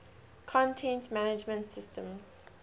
content management systems